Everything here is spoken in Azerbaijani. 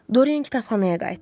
Dorien kitabxanaya qayıtdı.